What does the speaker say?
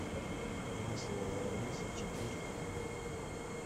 масло лоренцо четырка